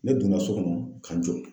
Ne donna so kɔnɔ ka n jɔ